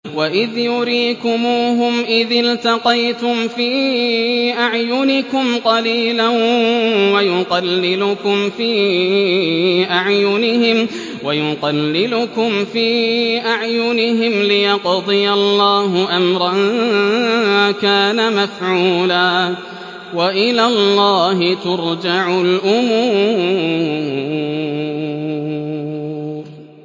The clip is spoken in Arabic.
وَإِذْ يُرِيكُمُوهُمْ إِذِ الْتَقَيْتُمْ فِي أَعْيُنِكُمْ قَلِيلًا وَيُقَلِّلُكُمْ فِي أَعْيُنِهِمْ لِيَقْضِيَ اللَّهُ أَمْرًا كَانَ مَفْعُولًا ۗ وَإِلَى اللَّهِ تُرْجَعُ الْأُمُورُ